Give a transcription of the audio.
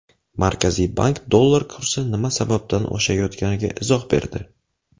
Markaziy bank dollar kursi nima sababdan oshayotganiga izoh berdi.